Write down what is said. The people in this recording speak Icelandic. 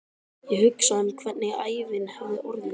Ég hugsa um hvernig ævin hefði orðið.